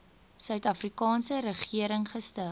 suidafrikaanse regering gestig